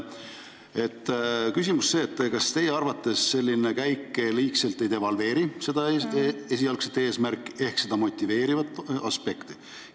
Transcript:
Küsimus on niisugune: kas teie arvates selline käik ei devalveeri seda motiveerivat aspekti?